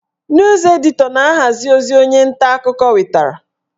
Nus editọ na-ahazi ozi onye nta akụkọ wetara